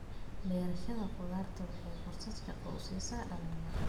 Beerashada khudaarta waxay fursad shaqo u siisaa dhalinyarada.